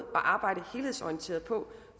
arbejde helhedsorienteret på